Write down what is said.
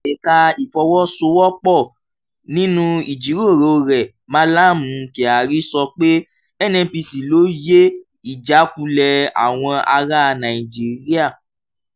ẹ̀ka ìfọ̀wọ́sowọ́pọ̀: nínú ìjíròrò rẹ̀ mallam kyari sọ pé nnpc lóye ìjákulẹ̀ àwọn ará nàìjíríà.